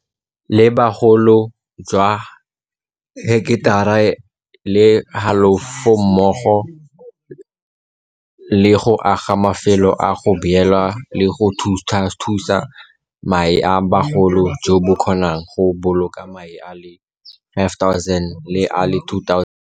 la bogolo jwa heketara le halofo mmogo le go aga mafelo a go beela le go thuthusa mae a bogolo jo bo kgonang go boloka mae a le 5 000 le a le 2 000.